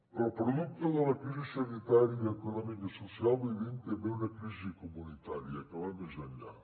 però producte de la crisi sanitària econòmica i social vivim també una crisi comunitària que va més enllà